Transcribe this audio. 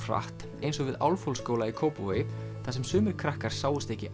hratt eins og við Álfhólsskóla í Kópavogi þar sem sumir krakkar sáust ekki